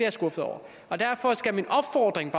er skuffet over og derfor skal min opfordring